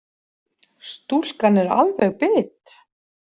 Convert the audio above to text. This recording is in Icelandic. Stúlkan er alveg bit.